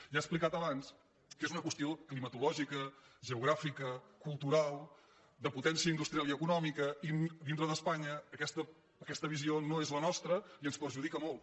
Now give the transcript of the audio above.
ja he explicat abans que és una qüestió clima·tològica geogràfica cultural de potència industrial i econòmica i dintre d’espanya aquesta visió no és la nostra i ens perjudica molt